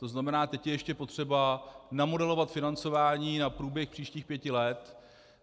To znamená, teď je ještě potřeba namodelovat financování na průběh příštích pěti let.